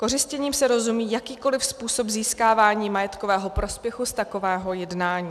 Kořistěním se rozumí jakýkoliv způsob získávání majetkového prospěchu z takového jednání.